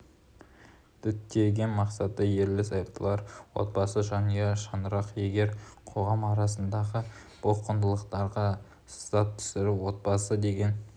діттеген мақсаты ерлі-зайыптылар отбасы жанұя шаңырақ егер қоғам арасындағы бұл құндылықтарға сызат түсіріп отбасы деген